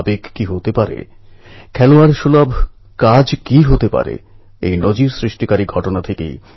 ওই কিশোরেরা কোথায় আছে কি অবস্থায় আছে ওদের কীভাবে বাইরে আনা যায় সেটা জানার সব রকম প্রচেষ্টা চালানো হয়